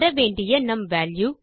பெற வேண்டிய மற்ற வால்யூ